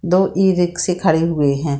दो ई-रिक्शे खड़े हुए हैं।